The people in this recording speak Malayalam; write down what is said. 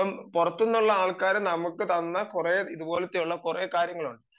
ഇപ്പം പുറത്തു നിന്നുള്ള ആൾക്കാർ നമുക്ക് തന്ന കുറെ ഇതുപോലത്തെ കുറെ കാര്യങ്ങളുണ്ട്